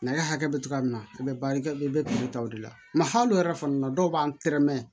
Nɛgɛ hakɛ bɛ cogoya min na i bɛ barika kɛ i bɛ taa o de la mɛ hali olu yɛrɛ fana na dɔw b'an tɛrɛ mɛn